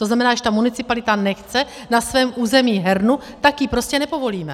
To znamená, když ta municipalita nechce na svém území hernu, tak ji prostě nepovolíme.